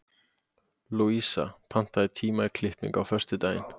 Louisa, pantaðu tíma í klippingu á föstudaginn.